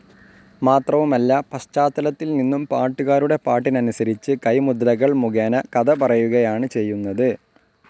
മാത്രവുമല്ല പശ്ചാത്തലത്തിൽനിന്നും പാട്ടുകാരുടെ പാട്ടിനനുസരിച്ച് കൈമുദ്രകൾ മുഖേന കഥ പറയുകയാണ്‌ ചെയ്യുന്നത്.